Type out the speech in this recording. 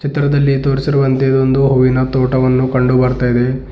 ಚಿತ್ರದಲ್ಲಿ ತೋರಿಸಿರುವಂತೆ ಇದು ಒಂದು ಹೂವಿನ ತೋಟ ಒಂದು ಕಂಡು ಬರ್ತಾ ಇದೆ.